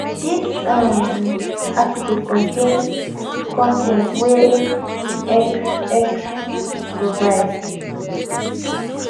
dis um article contain con ten t wey x x provide